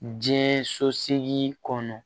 Diɲɛ so segin kɔnɔ